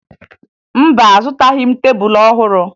Mba, azụtaghị m tebulu ọhụrụ